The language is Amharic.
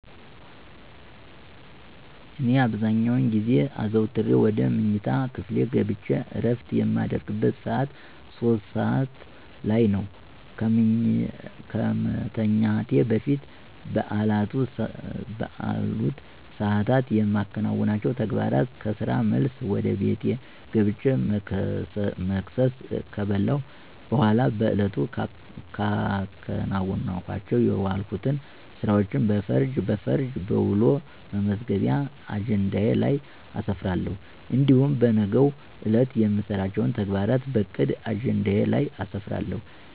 እኔ አብዛኛውን ጊዜ አዘውተሬ ወደ መኝታ ክፍሌ ገብቸ እረፍት የማደርግበት ሰዓት 3:00 (ሦስት ሰዓት) ላይ ነው። ከመተኛቴ በፊት በአሉት ሰዓታት የማከናውናቸው ተግባራት ከስራ መልስ ወደ ቤቴ ገብቸ መክሰስ ከበላሁ በኋላ በዕለቱ ሳከናውናቸው የዋልሁትን ስራዎች በፈርጅ በፈርጃ በውሎ መመዝገቢያ አጀንዳዬ ላይ አሰፍራለሁ። እንዲሁም በነገው ዕለት የምሰራቸውን ተግባራት በዕቅድ አጀንዳዬ ላይ አሰፍራለሁ።